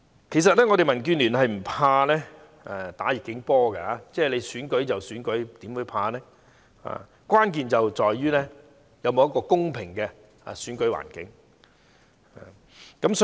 其實，民建聯並不怕打"逆境波"，不會害怕選舉，但關鍵在於是否有一個公平的選舉環境。